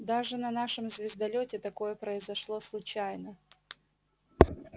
даже на нашем звездолёте такое произошло случайно